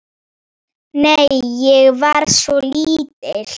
Nei, ég var svo lítil.